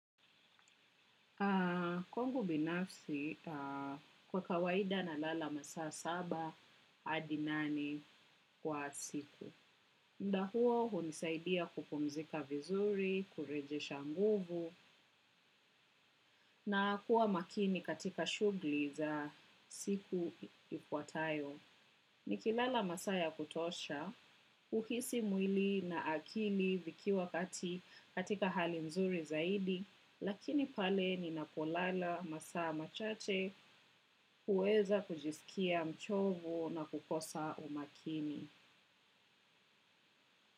Kwangu binafsi kwa kawaida nalala masaa saba hadi nane kwa siku. Muda huo hunisaidia kupumzika vizuri, kurejesha nguvu na kuwa makini katika shughuli za siku ifuatayo. Nikilala masaa ya kutosha, huhisi mwili na akili vikiwa kati katika hali mzuri zaidi, lakini pale ninapolala masaa machache huweza kujisikia mchovu na kukosa umakini.